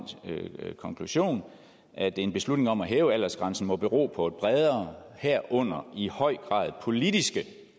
konklusion at en beslutning om at hæve aldersgrænsen må bero på bredere herunder i høj grad politiske